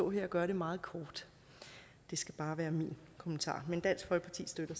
gøre det meget kort det skal bare være min kommentar men dansk folkeparti støtter